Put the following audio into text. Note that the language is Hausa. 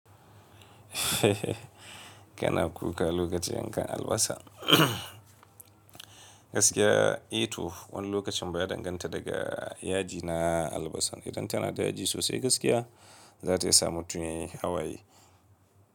Kana kuka lokacin yankan albasa. Gaskiya, a to wani lokacin ba ya danganta daga yaji na albasa. Idan tana da yaji sosai gaskiya, za ta iya sa mutum ya yi hawaye.